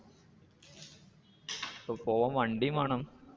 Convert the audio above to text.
ഇപ്പൊ പോവാൻ വണ്ടി വേണം.